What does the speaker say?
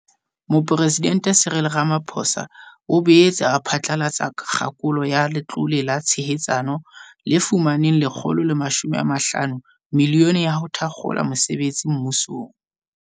Mopresidente Cyril Rama-phosa o boetse a phatlalatsa kgakolo ya Letlole la Tshehetsano, le fumaneng R150 milione ya ho thakgola mosebetsi mmusong.